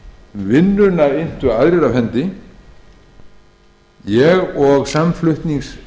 vinnuna inntu aðrir af hendi en ég og meðflutningsmenn mínir